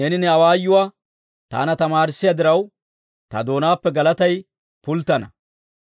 Neeni ne awaayuwaa taana tamaarissiyaa diraw, ta doonaappe galatay pulttana.